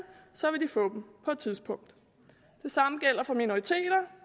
så vil de få dem på et tidspunkt det samme gælder for minoriteter